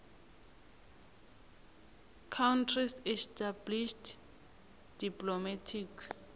countries established diplomatic